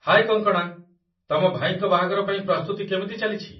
ହାଏ କଙ୍କଣା! ତମ ଭାଇଙ୍କ ବାହାଘର ପାଇଁ ପ୍ରସ୍ତୁତି କେମିତି ଚାଲିଛି?